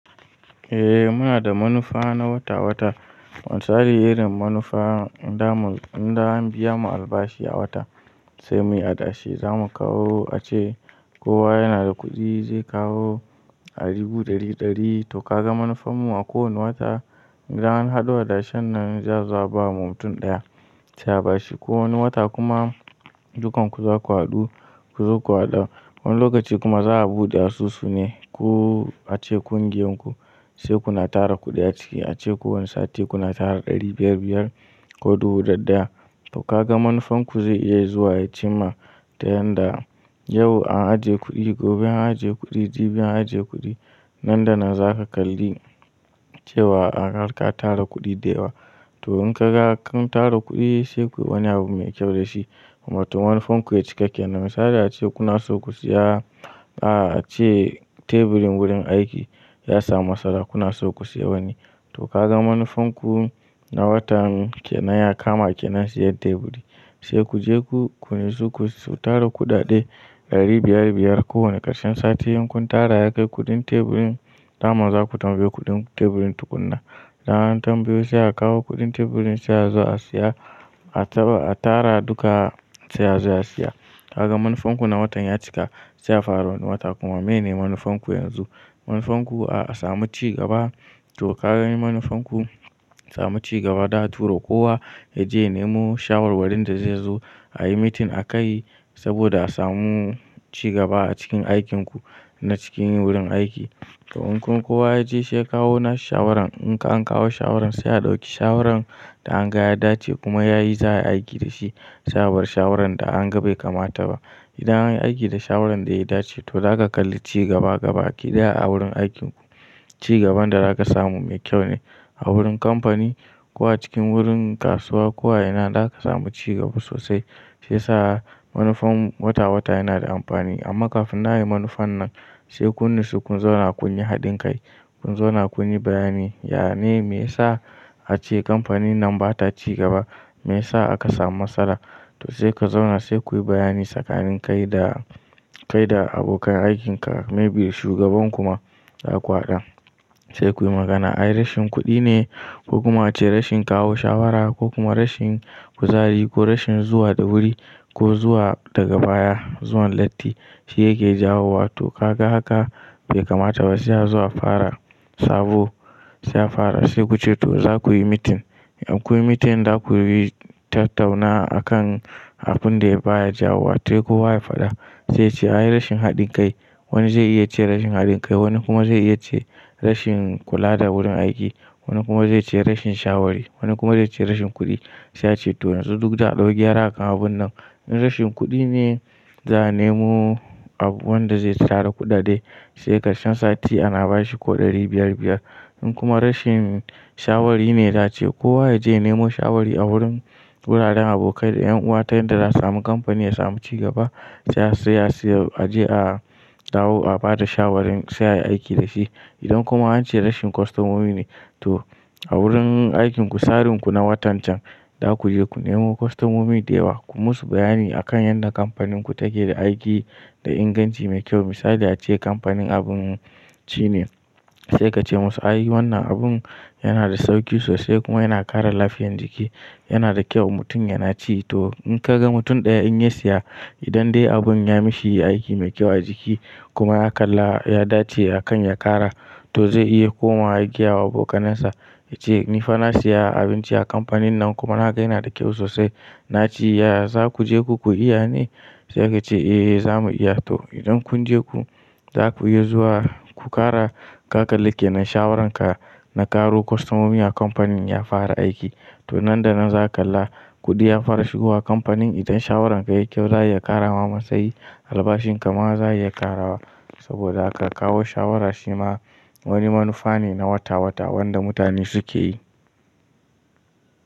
Eh muna da manufa na wata wata, misalin wannan manufa in dai an biya mu albashi a wata sai muyi adashi zamu kawo ace kowa yana da kuɗi zai kawo dubu ɗari ɗari, to kaga manufar mu a kowane wata idan an haɗo adashen nan za a zo a bama mutum ɗaya sai abashi, ko wani wata kuma dukan ku zaku haɗu ku zo ku haɗa wani lokaci kuma za'a buɗe asusu ne kullum ace ƙungiyar ku, sai kuna tara kuɗi a ciki ace kowanne sati kuna tara ɗari biyar biyar ko dubu ɗaya ɗaya, to kaga manufar ku zai iya ya zo ya cimma wanda yau an ajiye kuɗi, gobe an ajiye kuɗi, jibi an ajiye kuɗi. Nan da nan zaka kalli cewa kun tara kuɗi da yawa, to in kun ga kun tara kuɗi sai kuyi wani abu mai kyau da shi, wato manufar ku ya cika kenan, misali ace kuna son ku saya a ce teburin wurin aiki ya samu matsala kuna so ku siya wani to kaga manufar ku na watan kenan ya kama kenan siyan teburi sai ku je ku nuhu su ku tara kuɗaɗe ɗari biyar-biyar ko wane ƙarshen sati in kun tara ya kai kuɗin teburin daman zaku tambaye kuɗin teburin tukunna. Idan an tambayo sai a kawo kuɗin teburin sai a zo a siya a taba, a tara duka sai a zo a siya. Kaga manufar ku na watan ya cika sai a fara wani wata kuma mene manufar ku yanzu. Manufar ku a samu cigaba to ka gani manufar ku samu cigaba ta turo kowa yaje ya nemo shawarwarin da zai zo ayi meeting akai saboda a samu cigaba a cikin aikin ku na cikin wurin aiki. To in kun, kowa yaje shi ya kawo na shi shawaran in an kawo shawaran sai a ɗauki shawaran da an ga ya dace kuma yayi za ayi aiki da shi sai abar shawaran da an ga bai kamata ba. Idan an yi aiki da shawaran da ya dace to zaka kalli cigaba gabaki ɗaya a wurin aikin ku. Cigaban da zaka samu mai kyau ne a wurin kamfani ko a cikin wurin kasuwa ko a ina za ka samu cigaba sosai. Sai saha manufar mu wata-wata yana da amfani amma kafin nan ayi manufan nan sai kun haɗu kun zauna kun yi haɗin kai, kun zauna kun yi bayani, ya ne me yasa ace kamfanin nan ba ta cigaba, me yasa aka samu matsala to sai ku zauna sai kuyi bayani tsakanin kai da kai da abokan aikin ka maybe shugaban kuma za ku haɗa. Sai kuyi magana ai rashin kuɗi ne ko kuma ace rashin kawo shawara ko kuma rashin kuzari ko rashin zuwa da wuri ko zuwa daga baya zuwan latti shi yake jawo wa to ka ga haka bai kamata ba sai a zo a fara sabo sai a fara sai ku ce to za kuyi meeting. In kuyi meeting za kuyi tattauna akan abun da ya baya jawo wai to ko wa ya faɗa sai ce ai rashin haɗin kai wani zai iya ce rashin haɗin kai wani kuma zai iya ce rashin kula da wurin aiki wani kuma zai ce rashin shawari wani kuma zai ce rashin kuɗi sai a ce toh a rubuta, a ɗau gyara akan abun nan in rashin kuɗi ne za a nemo abu wanda zai tara kuɗaɗe sai ƙarshen sati ana bashi ko ɗari biyar-biyar. In kuma rashin shawari ne za ace kowa yaje ya nemo shawari a wurin wuraren abokai da ƴan uwa ta yanda za a samu kamfani ya samu cigaba sai a siya a je a kawo a bada shawarin sai a yi aiki da shi. Idan kuma an ce rashin kwastomomi ne to a wurin aikin ku tsarin ku na watan can za ku je ku nemo kwastomomi da yawa ku musu bayani akan yanda kamfanin ku take da aiki da inganci mai kyau. Misali ace kamfanin abinci ne sai ka ce musu ai wannan abin yana da sauki sosai kuma yana ƙara lafiyan jiki yana da kyau mutum yana ci to in ka ga mutum ɗaya in ya siya idan dai abun ya mishi aiki mai kyau a jiki kuma ya kalla ya dace akan ya ƙara to zai iya komawa ya gaya wa abokanansa ya ce ni fa na siya abinci a kamfanin nan kuma na ga yana da kyau sosai na ci ya za ku je ku iya ne? Sai ka ce eh za mu iya to idan kun je ku za kuyi zuwa ku ƙara ka kalli kenan shawaran ka na ƙaro kwastomomi a kamfanin ya fara aiki to nan da nan za ka kalla kuɗi ya fara shigowa kamfanin idan shawaran ka yayi kyau za ya ƙara ma matsayi albashin kama za a iya ƙarawa saboda aka kawo shawara shi ma wani manufa ne na wata-wata wanda mutane su ke yi.